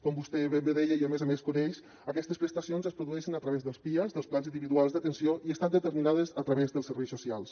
com vostè ben bé deia i a més a més coneix aquestes prestacions es produeixen a través dels pias dels plans individuals d’atenció i estan determinades a través dels serveis socials